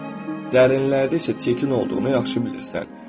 dərinlərdə isə çirkin olduğunu yaxşı bilirsən.